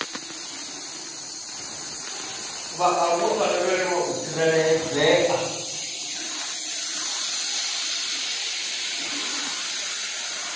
vhaaluwa vha lavhelwa u tsireledzea